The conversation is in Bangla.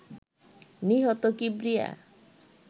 নিহত কিবরিয়া